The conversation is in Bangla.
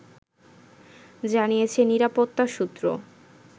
জানিয়েছে নিরাপত্তা সূত্র